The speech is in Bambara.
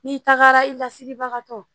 N'i tagara i lasiribagatɔ